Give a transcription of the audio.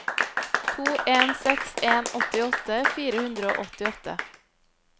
to en seks en åttiåtte fire hundre og åttiåtte